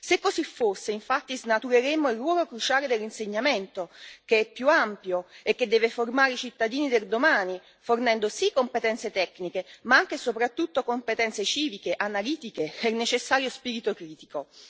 Se così fosse, infatti, snatureremmo il ruolo cruciale dell'insegnamento, che è più ampio e che deve formare i cittadini del domani, fornendo sì competenze tecniche ma anche e soprattutto competenze civiche, analitiche e il necessario spirito critico.